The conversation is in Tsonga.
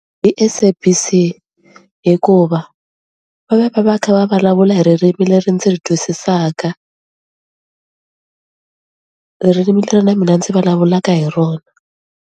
Hi SABC hikuva va va va va kha va vulavula hi ririmi leri ndzi ri twisisaka ririmi leri na mina ndzi vulavulaka hi rona.